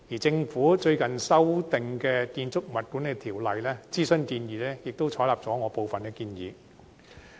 政府最近的建議修訂《建築物管理條例》諮詢文件，也採納了我部分的建議。